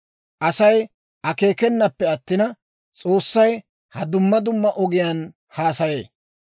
Asay akeekanappe attina, S'oossay ha duma duma ogiyaan haasayee.